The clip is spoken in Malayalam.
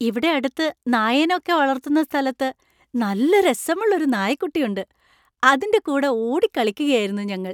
ഇവിടെ അടുത്തു നായേനെ ഒക്കെ വളർത്തുന്ന സ്ഥലത്ത് നല്ല രസമുള്ള ഒരു നായക്കുട്ടി ഉണ്ട്. അതിൻ്റെ കൂടെ ഓടിക്കളിക്കുകയായിരുന്നു ഞങ്ങൾ.